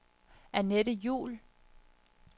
Anette Juhl